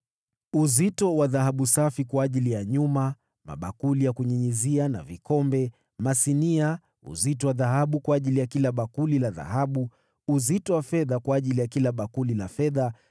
uzito wa dhahabu safi kwa ajili ya nyuma, mabakuli ya kunyunyizia na vikombe, masinia; uzito wa dhahabu kwa ajili ya kila bakuli la dhahabu; uzito wa fedha kwa ajili ya kila bakuli la fedha;